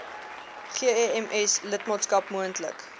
gems lidmaatskap moontlik